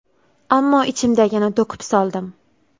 Ammo ichimdagini to‘kib soldim.